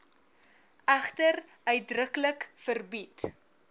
egter uitdruklik verbied